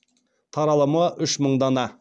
таралымы үш мың дана